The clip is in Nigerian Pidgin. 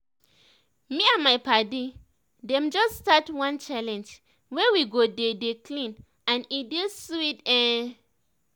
me and my padi dem just start one challenge wey we go dey dey clean and e dey sweet ehn